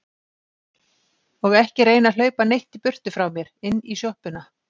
Og ekki reyna að hlaupa neitt í burtu frá mér. inn í sjoppuna!